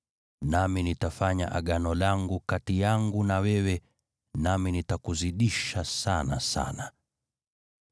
Nami nitafanya Agano langu kati yangu na wewe, nami nitakuzidisha sana sana.”